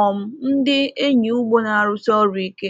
um ndị enyi ugbo na-arụsi ọrụ ike.